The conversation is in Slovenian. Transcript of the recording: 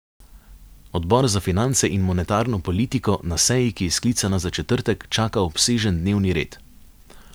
Odbor za finance in monetarno politiko na seji, ki je sklicana za četrtek, čaka obsežen dnevni red.